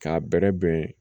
K'a bɛrɛ bɛn